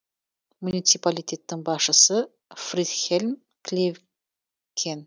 муниципалитеттің басшысы фридхельм клевкен